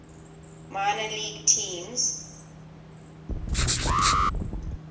minor league teams